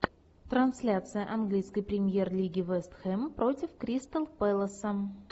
трансляция английской премьер лиги вест хэм против кристал пэласа